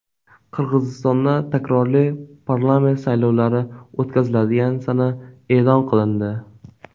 Qirg‘izistonda takroriy parlament saylovlari o‘tkaziladigan sana e’lon qilindi.